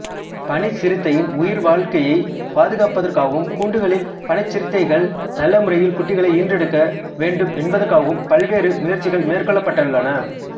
பனிச்சிறுத்தையின் உயிர்வாழ்க்கையைப் பாதுகாப்பதற்காகவும் கூண்டுகளில் பனிச்சிறுத்தைகள் நல்லமுறையில் குட்டிகளை ஈன்றெடுக்க வேண்டும் என்பதற்காகவும் பல்வேறு முயற்சிகள் மேற்கொள்ளப்பட்டுள்ளன